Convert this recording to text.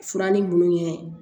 Fura ni munnu ye